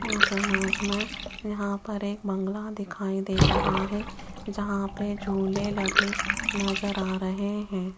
इस इमेज में यहां पर एक बंगला दिखाई दे रहा है जहां पे झूले लगे नजर आ रहे हैं।